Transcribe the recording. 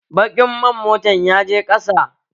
Baƙin man motan yaje ƙasa